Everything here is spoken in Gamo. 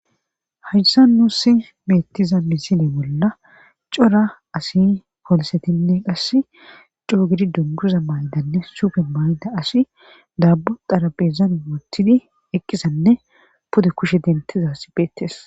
haysssa nuusi mettiza misine bolla cora asi polsetinne qas coo gidi dunguza maydanne supen mayda asi daabu darabezan mootidi eqqisanne pude kushe dentiza si beettes